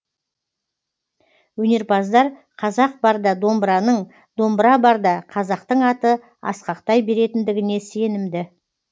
өнерпаздар қазақ барда домбыраның домбыра барда қазақтың аты асқақтай беретіндігіне сенімді